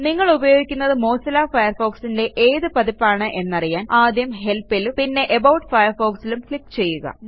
നിങ്ങളുപയോഗിക്കുന്നത് Mozilla Firefoxന്റെ ഏത് പതിപ്പാണ് എന്നറിയാൻ ആദ്യം Helpലും പിന്നെ അബൌട്ട് Firefoxലും ക്ലിക്ക് ചെയ്യുക